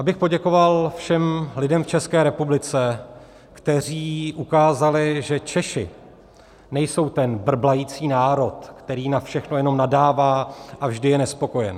Abych poděkoval všem lidem v České republice, kteří ukázali, že Češi nejsou ten brblající národ, který na všechno jenom nadává a vždy je nespokojen.